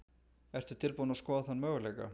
Ertu tilbúin að skoða þann möguleika?